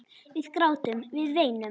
Við grátum, við veinum.